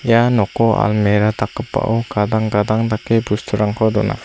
ia noko almera dakgipao gadang gadang dake bosturangko dona.